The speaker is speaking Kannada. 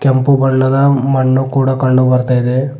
ಕೆಂಪು ಬಣ್ಣದ ಮಣ್ಣು ಕೂಡ ಕಂಡು ಬರ್ತಾ ಇದೆ.